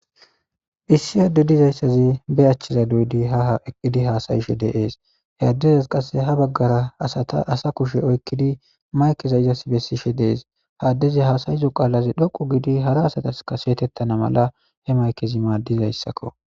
Issi haadde dizayssazi be achchiza do'di ha ha eqqidi haasayishe deees he addezas qasse ha baggara asata asa kushe oykkidi maykeza izas bessishe dees haaddezi haasayizo qaalazi dhoqu gidi hara asataskaseetettana mala he maykezi maaddizayssakko.